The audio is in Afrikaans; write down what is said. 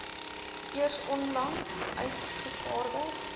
eers onlangs uitgevaardig